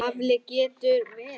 Afl getur verið